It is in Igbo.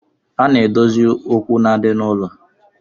A na-edozi okwu na-adi n'ụlọ